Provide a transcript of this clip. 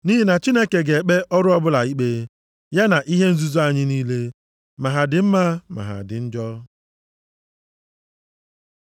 Nʼihi na Chineke ga-ekpe ọrụ ọbụla ikpe, ya na ihe nzuzo anyị niile, ma ha dị mma ma ha dị njọ.